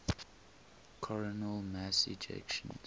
coronal mass ejections